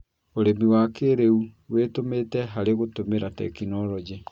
ũrĩmi wa kĩĩrĩu wĩtũmĩte harĩ gũtũmĩra tekinoronjĩ